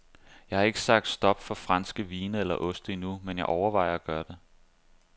Jeg har ikke sagt stop for franske vine eller oste endnu, men jeg overvejer at gøre det.